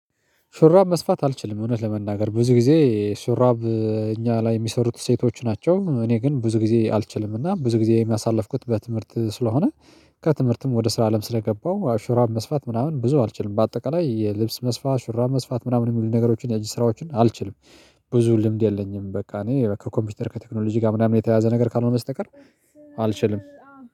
ሹራብ መስፋት አልችልም እውነት ለመናገር ብዙ ጊዜ ሹራብ እኛ ላይ የሚሰሩት ሴቶች ናቸው። እኔ ግን ብዙ ጊዜ አልችልም እና ብዙ ጊዜዬ የሳልፍኩት በትምህርት ስለሆነ ከትምህርትም ወደ ስራ አለም ስለገባው ሹራበ መስፋት ምናምን ብዙ አልችልም በአጠቃላይ የልብስ መስፋት ሹራብ መስፋት ምናምን የሚሉ ነገሮችን የእጅ ስራዎችን አልችልም። ብዙ ልምድ የለኝም በቃ እኔ ከኮምፒውተር ከቴክኖሎጂ ጋር ምናምን የተያያዘ ነገር ካልሆነ በስተቀር። አልችልም